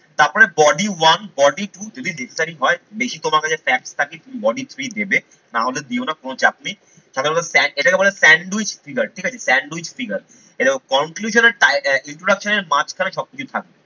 তারপরে body one, body two যদি হয় বেশি তোমার কাছে facts থাকে তুমি body three দেবে নাহলে দিও না কোন চাপ নেই। সাধারণত এটাকে বলে sandwich figure ঠিক আছে। sandwich figure এই দেখো conclusion আর আহ introduction এর মাঝখানে সবকিছু থাকবে।